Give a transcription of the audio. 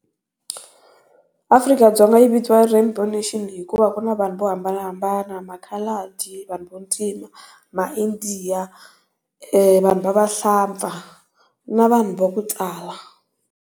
Afrika-Dzonga yi i vitaniwa rainbow nation hikuva ku na vanhu vo hambanahambana ma coloured, vanhu va ntima, ma India, vanhu va vahlampfa na vanhu va ku tala.